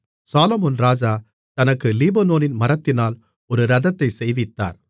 சாலொமோன் ராஜா தனக்கு லீபனோனின் மரத்தினால் ஒரு இரதத்தைச் செய்வித்தார்